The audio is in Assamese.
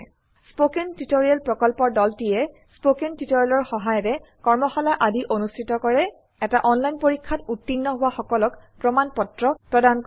স্পৌকেন টিওটৰিয়েল প্ৰকল্পৰ দলটিয়েস্পকেন টিওটৰিয়েলৰ সহায়েৰে কৰ্মশালা আদি অনুষ্ঠিত কৰে এটা অনলাইন পৰীক্ষাত উত্তীৰ্ণ হোৱা সকলক প্ৰমাণ পত্ৰ প্ৰদান কৰে